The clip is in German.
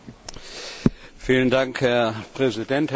Herr Präsident, Herr Kommissionspräsident!